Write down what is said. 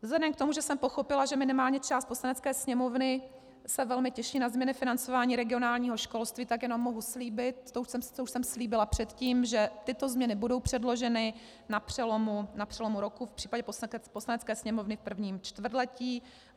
Vzhledem k tomu, že jsem pochopila, že minimálně část Poslanecké sněmovny se velmi těší na změny financování regionálního školství, tak jenom mohu slíbit, co už jsem slíbila předtím, že tyto změny budou předloženy na přelomu roku, v případě Poslanecké sněmovny v prvním čtvrtletí.